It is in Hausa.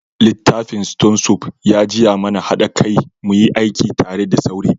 Littafin stone soup ya jiya mana hada kai muyi aiki tare da saure.